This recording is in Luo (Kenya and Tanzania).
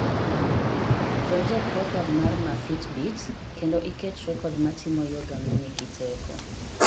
donjo e program maa ma fitbit kendo iket rekod ma timo yoga manigi teko